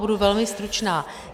Budu velmi stručná.